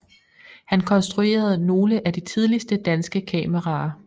Han konstruerede nogle af de tidligste danske kameraer